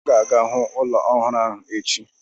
M ga-aga hụ ụlọ ọhụrụ ahụ echi.